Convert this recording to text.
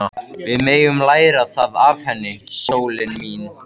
Við megum læra það af henni, sólin mín.